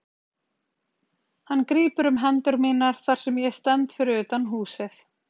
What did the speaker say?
Hann grípur um hendur mínar þar sem ég stend fyrir utan húsið.